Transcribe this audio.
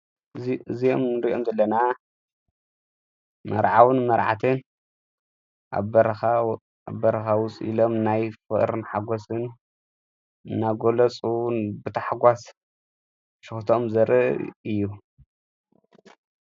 እዝም ርእዮም ዘለና መርዓውን መርዓትን ኣብ በረኻዊፂኢሎም ናይ ፍእርን ሓጐስን ናጐሎፁን ብታሕጓስ ሽኽቶም ዘር እዩ።